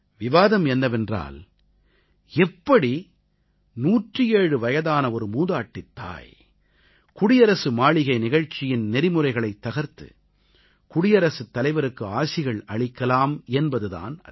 விவாதம் என்னவென்றால் எப்படி 107 வயதான ஒரு மூதாட்டித் தாய் குடியரசு மாளிகை நிகழ்ச்சியின் நெறிமுறைகளைத் தகர்த்து குடியரசுத் தலைவருக்கு ஆசிகள் அளிக்கலாம் என்பது தான் அது